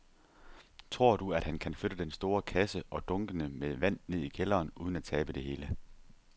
Tror du, at han kan flytte den store kasse og dunkene med vand ned i kælderen uden at tabe det hele?